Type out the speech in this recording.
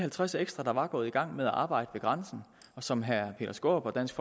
halvtreds ekstra der var gået i gang med at arbejde ved grænsen og som herre peter skaarup og dansk